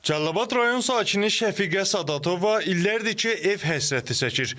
Cəlilabad rayon sakini Şəfiqə Sadatova illərdir ki, ev həsrəti çəkir.